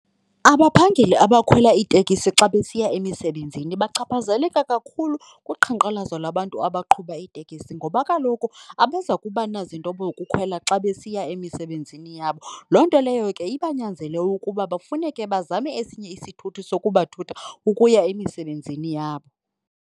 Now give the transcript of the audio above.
Abaphangeli abakhwela iitekisi xa besiya emisebenzini bachaphazeleka kakhulu kuqhankqalazo lwabantu abaqhuba iitekisi ngoba kaloku abazokuba nazinto khwela xa besiya emisebenzini yabo. Loo nto leyo ke ibanyanzele ukuba bafuneke bazame esinye isithuthi sokubathutha ukuya emisebenzini yabo.